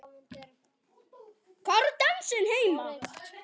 Hvar á dansinn heima?